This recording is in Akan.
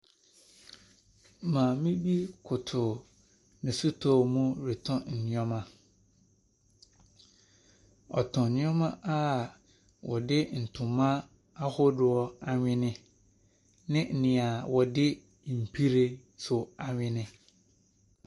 Maame bi koto ne sotɔɔ muretɔn nneɛma. Ɔtɔn nneɛma a wɔde ntoma ahodoɔ anwono ne deɛ wɔde nhwiren nso anwono.